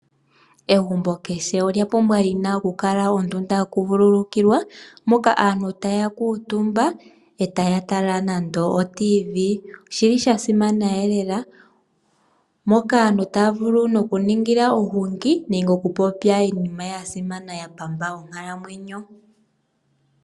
Aantu momagumbo ya wo ohaya landelemo oladio yo muzizimbe. No ngele shiyeli megumbo, otaya vulu oku kala yeli pamwe naa negumbo ya wo eta ya tala nawa no mbili.